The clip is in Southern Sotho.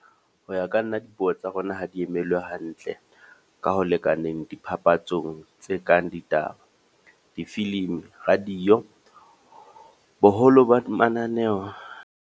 Hoya ka nna dipuo tsa rona ha di emelwe hantle, ka ho lekaneng dipapatsong tse kang ditaba, difilimi, radio, boholo ba di mananeho.